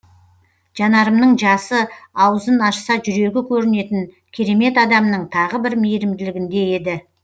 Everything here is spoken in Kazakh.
жанарымның жасы аузын ашса жүрегі көрінетін керемет адамның тағы бір мейірімділігінде еді